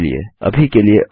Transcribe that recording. अभी के लिए अलविदा